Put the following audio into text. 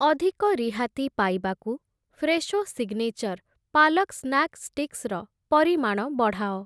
ଅଧିକ ରିହାତି ପାଇବାକୁ Fresho signature palak snack sticks ର ପରିମାଣ ବଢ଼ାଅ ।